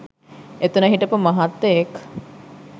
එතන හිටපු මහත්තයෙක්